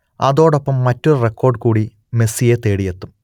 അതോടൊപ്പം മറ്റൊരു റെക്കോർഡ് കൂടി മെസ്സിയെ തേടിയെത്തും